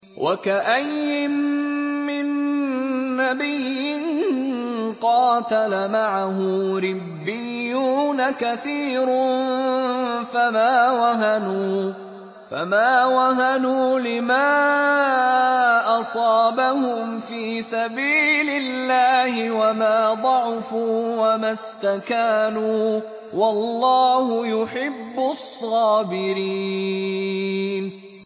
وَكَأَيِّن مِّن نَّبِيٍّ قَاتَلَ مَعَهُ رِبِّيُّونَ كَثِيرٌ فَمَا وَهَنُوا لِمَا أَصَابَهُمْ فِي سَبِيلِ اللَّهِ وَمَا ضَعُفُوا وَمَا اسْتَكَانُوا ۗ وَاللَّهُ يُحِبُّ الصَّابِرِينَ